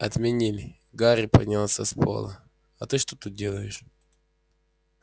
отменили гарри поднялся с пола а ты что тут делаешь